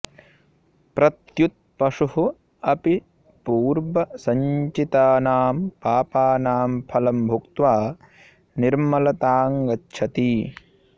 प्रत्युत पशुः अपि पूर्वसञ्चितानां पापानां फलं भुक्त्वा निर्मलताङ्गच्छति